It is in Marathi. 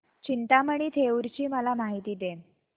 चिंतामणी थेऊर ची मला माहिती दे